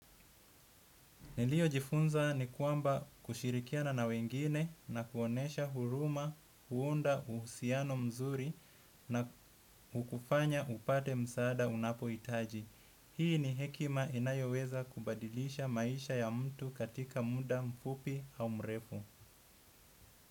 Niliyo jifunza ni kwamba kushirikiana na wengine na kuonesha huruma, huunda uhusiano mzuri na hukufanya upate msaada unapo hitaji. Hii ni hekima inayoweza kubadilisha maisha ya mtu katika muda mfupi au mrefu.